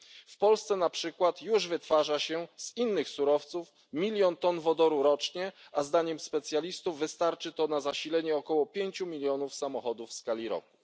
W Polsce na przykład już wytwarza się z innych surowców milion ton wodoru rocznie, a zdaniem specjalistów wystarczy to na zasilenie około pięciu milionów samochodów w skali roku.